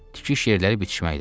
Tikiş yerləri bitişməkdədir.